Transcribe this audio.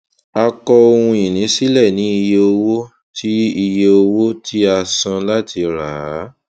a kọ ohunìní sílẹ ní iye owó tí iye owó tí a san láti rà á